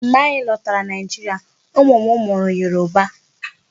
Mgbe anyị lọtara Nigeria, ụmụ m mụrụ Yoruba.